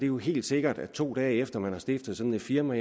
jo helt sikkert at to dage efter at man har stiftet sådan et firma